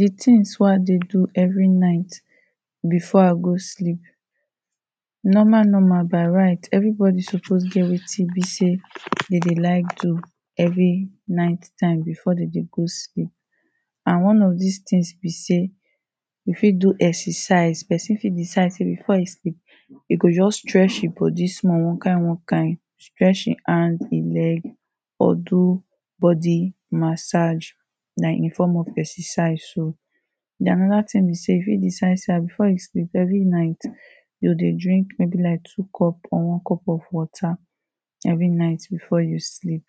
The things wey i dey do every night before i go sleep normal normal by right everybody suppose get wetin e be sey dem dey like do every night time before dem dey go sleep. And one of dis things be sey you fit do exercise. Person fit decide sey before e sleep, e go just stretch e body small one kind one kind. Stretch e hand, e leg or do body massage na in form of exercise so. den another thing be sey you fit decide sey ha before you sleep, every night you go dey drink maybe like two cup or one cup of water every night before you sleep.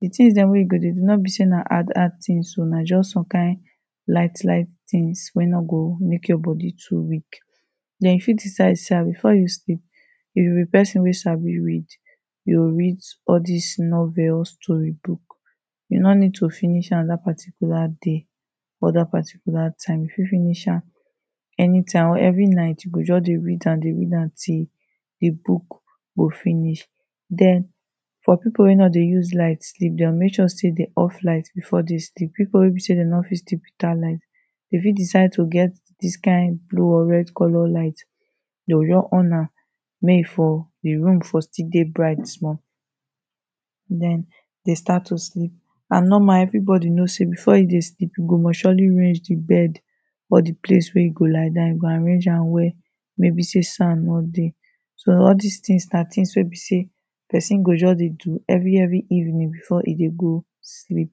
The things dem wey you go dey do no be sey na hard hard things oh. Na just some kind light light things wey no go make your body too weak. Den you fit decide sey before you sleep if you be person wey sabi read, you go read all des novels, story books. You no need to finish am dat particular day or dat particular time. You fit finish am anytime or every night you go just dey read am dey read am till the book go finish. Den for people wey no dey use light sleep, they go make sure sey they off light before they sleep. People wey be sey they no fit sleep without light, they fit decide to get dis kind blue or red colour light. They go just on am mey e for the room for still dey bright small. Den they start to sleep. And normal everybody know sey before him dey sleep e go must surely range the bed but the place wey e go lie down, you go arrange am well maybe sey sand no dey. So all des things na things wey be sey person go just dey do every every evening before e dey go sleep.